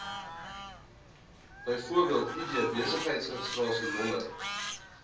bv id besigheidsregistrasienommer